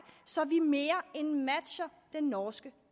så vi mere end matcher den norske